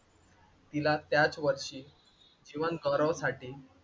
तिला त्याच वर्षी जीवनगौरवसाठी,